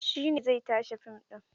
Shi ne zai tace fim ɗin.